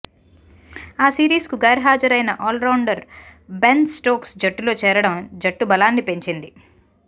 ఆ సిరీస్కు గైర్హాజరైన ఆల్రౌండర్ బెన్ స్టోక్స్ జట్టులో చేరడం జట్టు బలాన్ని పెంచింది